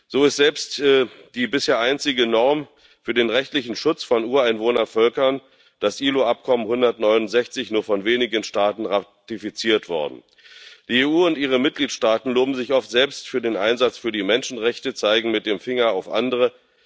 So ist selbst die bisher einzige Norm für den rechtlichen Schutz von Ureinwohnervölkern, das IAO Übereinkommen 169, nur von wenigen Staaten ratifiziert worden. Die EU und ihre Mitgliedstaaten loben sich oft selbst für den Einsatz für die Menschenrechte, zeigen mit dem Finger auf andere.